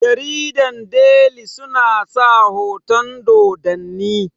jaridar deli suna sa hoton Dodanni